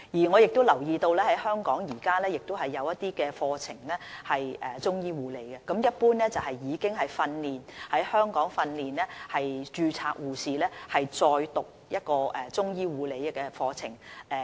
我留意到香港現時也有一些中醫護理課程，一般是讓已在香港受訓的註冊護士，再修讀一個中醫護理課程。